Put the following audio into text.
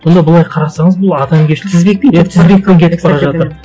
сонда былай қарасаңыз бұл адамгершілік